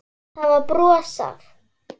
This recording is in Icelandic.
Það var brosað.